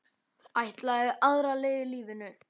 Ætlaði aðra leið í lífinu.